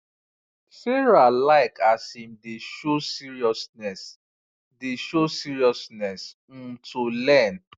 sarah like as him dey show seriousness dey show seriousness um to learn